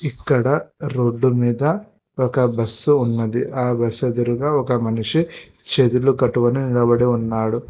ఇక్కడ రోడ్డు మీద ఒక బస్సు ఉన్నది ఆ బస్సు ఎదురుగా ఒక మనిషి చేతులు కట్టుకొని నిలబడి ఉన్నాడు.